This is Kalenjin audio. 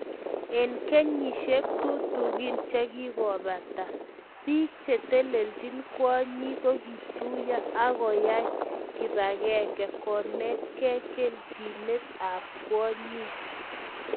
Eng kenyishek tutikin chekikobata, bik che telejin kwonyik kokituyo akoai kipakenge konaktaei keljinet ab kwonyik